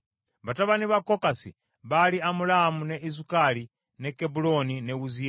Batabani ba Kokasi baali Amulaamu, ne Izukali, ne Kebbulooni ne Wuziyeeri.